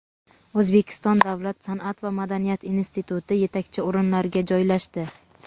O‘zbekiston davlat san’at va madaniyat instituti yetakchi o‘rinlarga joylashdi.